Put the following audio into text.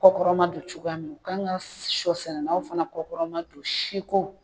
Kɔkɔrɔma don cogoya min u kan ka sɔ sɛnɛlaw fana kɔkɔma don si ko